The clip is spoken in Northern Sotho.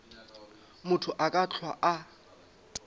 motho a ka hlwa a